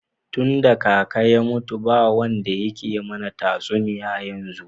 Tunda kaka ya mutu ba wanda yake mana tatsuniya yanzu.